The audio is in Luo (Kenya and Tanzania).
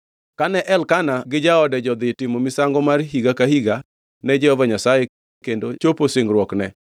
Kane Elkana gi jaode jodhi timo misango mar higa ka higa ne Jehova Nyasaye kendo chopo singruokne,